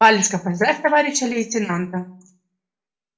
валюшка поздравь товарища лейтенанта